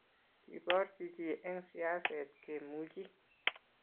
keborchi chii eng siaset kemuchi